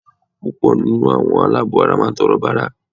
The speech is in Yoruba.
Púpọ̀ nínú àwọn aláàbọ̀-ara máà ń tọrọ bárà